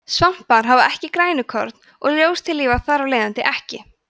svampar hafa ekki grænukorn og ljóstillífa þar af leiðandi ekki